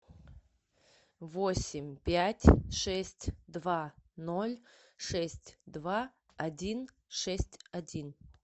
восемь пять шесть два ноль шесть два один шесть один